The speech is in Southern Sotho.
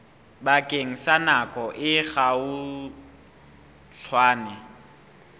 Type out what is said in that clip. bakeng sa nako e kgutshwane